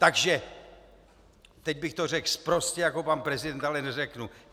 Takže - teď bych to řekl sprostě, jako pan prezident, ale neřeknu.